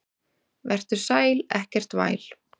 Vertu sæl, ekkert væl.